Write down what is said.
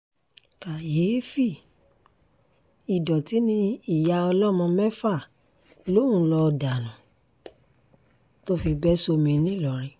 kàyééfì ìdọ̀tí ni ìyá ọlọ́mọ mẹ́fà lòún ń lọọ dànù tó fi bẹ́ sómi ńìlọrin